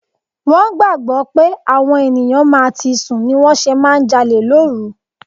Wón gbàgbó pé àwọn ènìyàn máa ti sùn ni wón ṣe máa ń jalè lóru.